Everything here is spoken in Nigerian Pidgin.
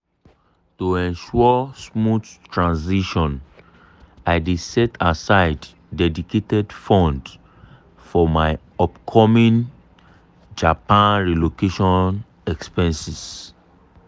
to ensure smooth transition i dey set aside dedicated fund for my upcoming japan relocation expenses.